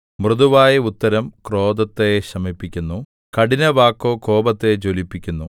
മൃദുവായ ഉത്തരം ക്രോധത്തെ ശമിപ്പിക്കുന്നു കഠിനവാക്കോ കോപത്തെ ജ്വലിപ്പിക്കുന്നു